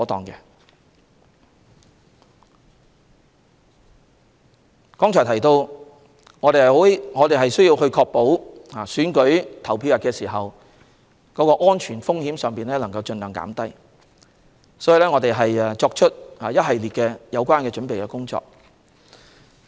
我剛才提到，我們需要確保選舉投票日的安全風險盡量減低，所以我們已進行一系列準備工作。